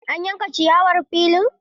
An yanka ciyawar filin?